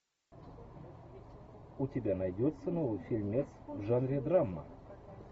у тебя найдется новый фильмец в жанре драма